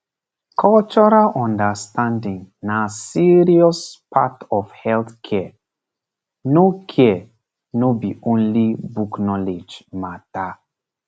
cultural understanding na serious part of health care no care no be only book knowledge matter